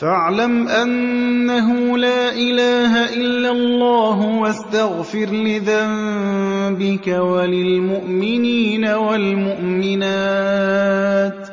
فَاعْلَمْ أَنَّهُ لَا إِلَٰهَ إِلَّا اللَّهُ وَاسْتَغْفِرْ لِذَنبِكَ وَلِلْمُؤْمِنِينَ وَالْمُؤْمِنَاتِ ۗ